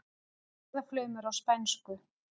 Orðaflaumur á spænsku.